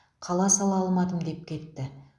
қала сала алмадым деп кетті